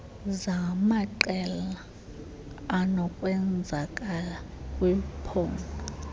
zamaqela anokwenzakala kwiphpondo